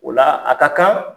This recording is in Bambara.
O la a ka kan